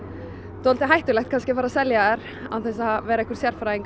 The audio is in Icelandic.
dálítið hættulegt að fara að selja þær án þess að vera einhver sérfræðingur í